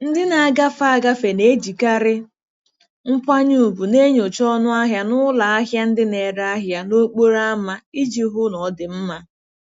Ndị na-agafe agafe na-ejikarị nkwanye ùgwù na-enyocha ọnụ ahịa n'ụlọ ahịa ndị na-ere ahịa n'okporo ámá iji hụ na ọ dị mma.